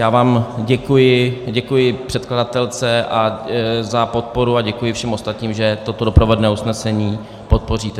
Já vám děkuji, děkuji předkladatelce za podporu a děkuji všem ostatním, že toto doprovodné usnesení podpoříte.